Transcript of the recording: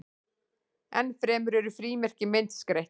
enn fremur eru frímerki myndskreytt